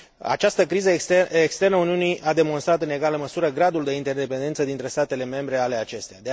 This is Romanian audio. Această criză externă Uniunii a demonstrat în egală măsură gradul de interdependență dintre statele membre ale acesteia.